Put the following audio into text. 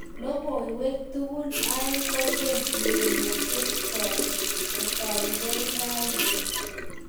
Logoiwek tukul aeng kolen urerioshek cho kotaukei raini.